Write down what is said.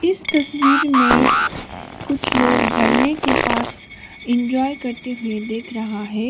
इस तस्वीर में कुछ लोग झरने के पास इंजॉय करते हुए देख रहा है।